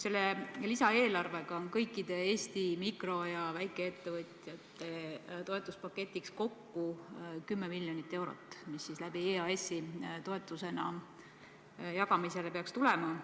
Selle lisaeelarvega on kõikide Eesti mikro- ja väikeettevõtjate toetuspaketis kokku 10 miljonit eurot, mis peaks EAS-i kaudu toetusena jagamisele tulema.